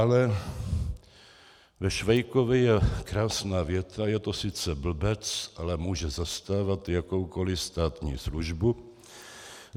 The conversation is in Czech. Ale ve Švejkovi je krásná věta: Je to sice blbec, ale může zastávat jakoukoliv státní službu.